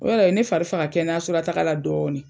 O yɛrɛ ye ne fari faga kɛnɛyaso la taaga la dɔɔni.